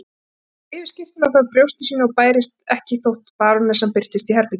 Hann hefur rifið skyrtuna frá brjósti sínu og bærist ekki þótt barónessan birtist í herberginu.